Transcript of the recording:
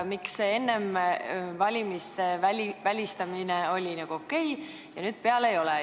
Miks enne valimisi oli välistamine okei ja nüüd enam ei ole?